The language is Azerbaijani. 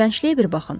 İyrəncliyə bir baxın.